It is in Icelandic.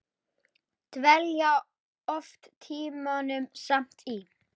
Dvelja oft tímunum saman í